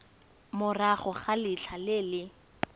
morago ga letlha le le